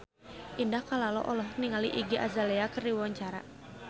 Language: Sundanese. Indah Kalalo olohok ningali Iggy Azalea keur diwawancara